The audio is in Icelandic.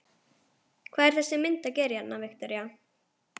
Hvað er þessi mynd að gera hérna, Viktoría?